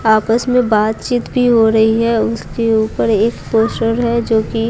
आपस में बातचीत भी हो रही है उसके ऊपर एक पोस्टर है जो कि--